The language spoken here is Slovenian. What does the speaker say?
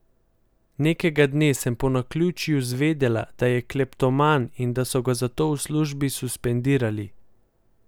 Nekega dne sem po naključju zvedela, da je kleptoman in da so ga zato v službi suspendirali.